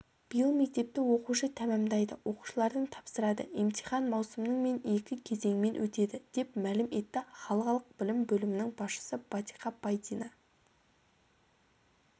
биыл мектепті оқушы тәмамдайды оқушылардың тапсырады емтихан маусымның мен екі кезеңмен өтеді деп мәлім етті қалалық білім бөлімінің басшысы батиқа пайдина